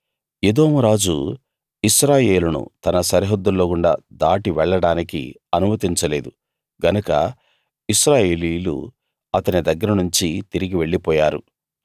ఎదోము రాజు ఇశ్రాయేలును తన సరిహద్దుల్లో గుండా దాటి వెళ్ళడానికి అనుమతించలేదు గనక ఇశ్రాయేలీయులు అతని దగ్గరనుంచి తిరిగి వెళ్ళిపోయారు